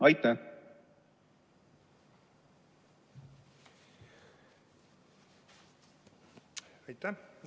Aitäh!